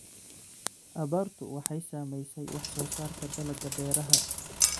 Abaartu waxay saamaysay wax soo saarka dalagga beeraha.